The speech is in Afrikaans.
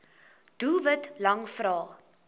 doelwit lang vrae